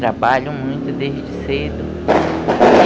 Trabalham muito desde cedo.